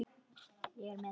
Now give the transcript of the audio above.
Ég er með hann.